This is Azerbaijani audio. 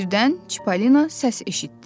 Birdən Çipollina səs eşitdi.